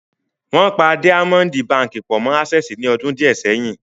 Wọ́n pa Díámọ́ǹdì baǹkì pọ̀ mọ́ Ásẹ́ẹ̀sì ní ọdún díẹ̀ sẹ́yìn.